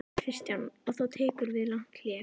Kristján: Og þá tekur við langt hlé?